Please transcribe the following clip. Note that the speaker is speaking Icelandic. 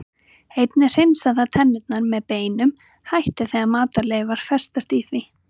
Einnig hreinsar það tennurnar með beinum hætti þegar matarleifar festast í því.